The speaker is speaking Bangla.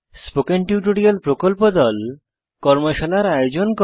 স্পোকেন টিউটোরিয়াল প্রকল্প দল কর্মশালার আয়োজন করে